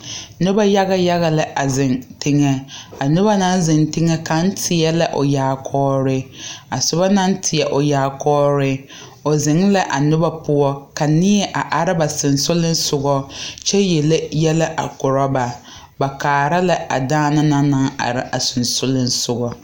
Nobɔ yaga yaga la a zeŋ teŋɛ a nobɔ naŋ zeŋ teŋɛ la teɛ la o yaakɔɔre a sobɔ naŋ teɛ o yaakɔɔre o zeŋ la a nobɔ poɔ ka neɛ a are ba seŋsugliŋsugɔ kyɛvyele yɛlɛ a korɔ ba ba kaara la a daana naŋ are a seŋsugliŋsugɔ.